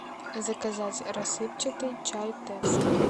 заказать рассыпчатый чай тесс